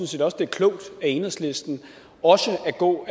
set også det er klogt af enhedslisten også at gå